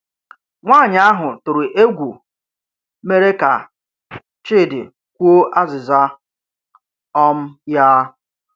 Nwanyị ahụ tụrụ egwu mere ka Chidi kwuo azịza um ya.